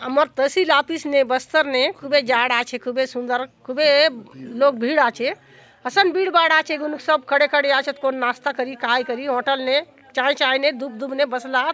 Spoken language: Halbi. आमर तहसील ऑफिस ने बस्तर ने खूबे झाड़ आचे खूबे सुन्दर खूबे लोग भीड़ आचेत असन भीड़ भाड़ आचे गुनूक सब खड़े-खड़े आचेत कौन नास्ता करी काय करी हॉटल ने छाय-छाय ने धूप-धूप ने बसला आत।